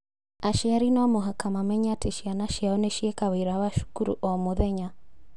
Aciari no mũhaka mamenye atĩ ciana ciao nĩ cieka wĩra wa cukuru o mũthenya